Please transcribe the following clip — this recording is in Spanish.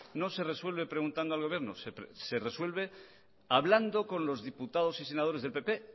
no se resuelve preguntando al gobierno se resuelve hablando con los diputados y senadores del pp